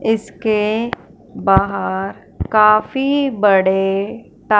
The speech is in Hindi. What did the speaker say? इसके बाहर काफी बड़े टा--